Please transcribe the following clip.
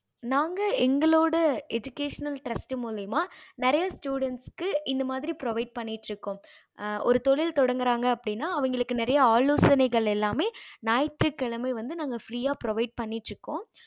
நாங்க எங்களோட education trast மூலையுமா நிறையா students க்கு இது மாறி provide பண்ணிட்டு இருக்கோம் ஆஹ் ஒரு தொழில் தொடங்கறாங்க அப்படின்னா அவங்களுக்கு நிறைய ஆலோசைனைகள் எல்லாமே ஞாயிற்று கிழமை வந்து நாங்க free provide பண்ணிட்டு இருக்கோம்